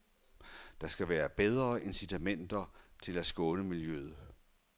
Der skal være bedre incitamenter til at skåne miljøet.